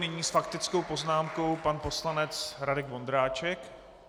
Nyní s faktickou poznámkou pan poslanec Radek Vondráček.